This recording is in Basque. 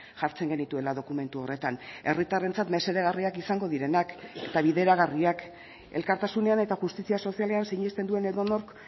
jartzen genituela dokumentu horretan herritarrentzat mesedegarriak izango direnak eta bideragarriak elkartasunean eta justizia sozialean sinesten duen edonork